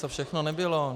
Co všechno nebylo.